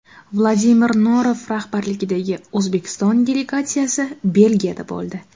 Vladimir Norov rahbarligidagi O‘zbekiston delegatsiyasi Belgiyada bo‘ldi.